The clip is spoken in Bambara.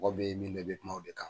Mɔgɔ bɛ min don, i bɛ kuma o de kan.